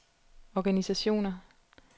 organisationer